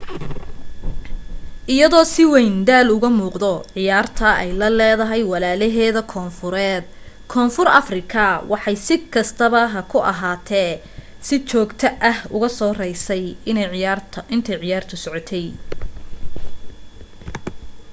iyadoo si wayn daal uga muuqdo ciyaarta ay la leedahay walaalaheeda koonfureed koonfur afrika waxay si kastaba ha ahaatee si joogto ah uga soo raysay intay ciyaartu socotay